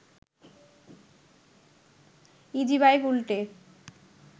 easy bike উল্টে